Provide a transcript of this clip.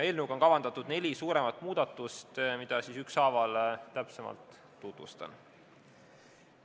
Eelnõuga on kavandatud neli suuremat muudatust, mida ma siis ükshaaval täpsemalt tutvustan.